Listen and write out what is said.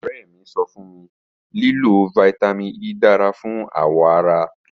Ọrẹ mi sọ fun mi lilo Vitamin E dara fun awọ ara